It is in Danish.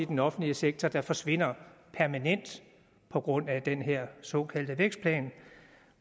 den offentlige sektor der forsvinder permanent på grund af den her såkaldte vækstplan